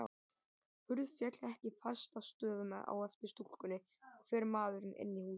Hurð féll ekki fast að stöfum á eftir stúlkunni, og fer maðurinn inn í húsið.